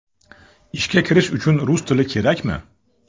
Ishga kirish uchun rus tili kerakmi?